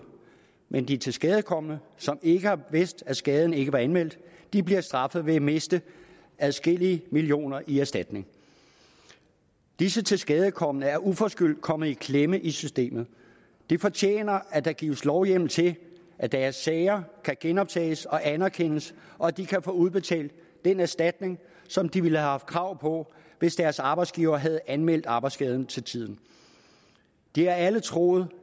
men at de tilskadekomne som ikke har vidst at skaden ikke var anmeldt bliver straffet ved at miste adskillige millioner kroner i erstatning disse tilskadekomne er uforskyldt kommet i klemme i systemet de fortjener at der gives lovhjemmel til at deres sager kan genoptages og anerkendes og at de kan få udbetalt den erstatning som de ville have haft krav på hvis deres arbejdsgiver havde anmeldt arbejdsskaden til tiden de har alle troet